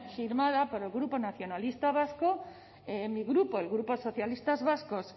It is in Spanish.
firmada por el grupo nacionalistas vascos mi grupo el grupo socialistas vascos